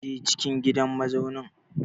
Je cikin gidan mazaunin!